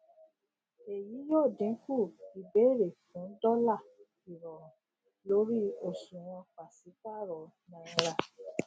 èyí yóò dínkù ìbéèrè fún dọlà ìrọrùn lórí òṣùwòn pàṣípàrọ náírà